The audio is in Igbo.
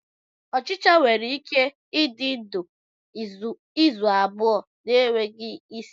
Ochicha nwere ike ịdị ndụ izu abụọ na-enweghị isi.